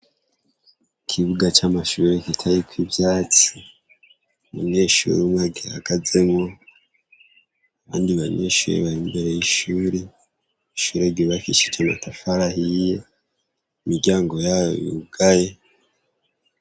Ikibuga c'amashure giteyeko ivyatsi, umunyeshure umwe agihagazemwo abandi banyeshure bari imbere y'ishure, ishure ryubakishije amatafari ahiye imiryamgo yayo yugaye.